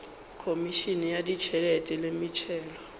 khomišene ya ditšhelete le metšhelo